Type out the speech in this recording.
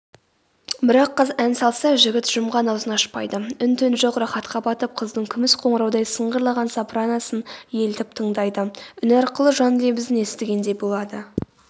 бірақ қыз ән салса жігіт жұмған аузын ашпайды үн-түн жоқ рахатқа батып қыздың күміс қоңыраудай сыңғырлаған сопраносын елтіп тыңдайды үні арқылы жан лебізін естігендей болады